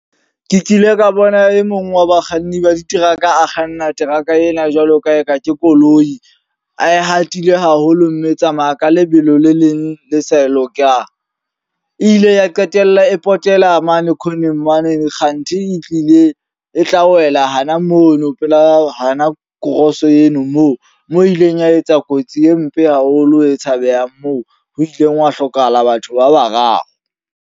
Ke kile ka bona e mong wa bakganni ba diteraka a kganna teraka ena jwalo ka eka ke koloi. A e hatile haholo mme e tsamaya ka lebelo le leng le sa lokang. E ile ya qetella e potela mane corneng mane kganthi e tlile e tla wela hana mono pela hana cross eno moo. Moo e ileng ya etsa kotsi e mpe haholo e tshabehang moo ho ileng hwa hlokahala batho ba bararo.